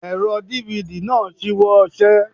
Ẹ̀rọ DVD náà ṣíwọ́ iṣẹ́.